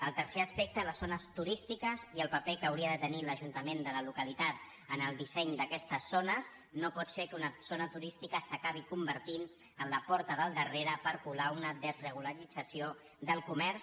el tercer aspecte les zones turístiques i el paper que hauria de tenir l’ajuntament de la localitat en el disseny d’aquestes zones no pot ser que una zona turística s’acabi convertint en la porta del darrere per colar una desregularització del comerç